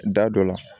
Da dɔ la